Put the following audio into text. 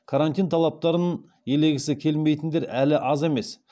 карантин талаптарын елегісі келмейтіндер әлі аз емес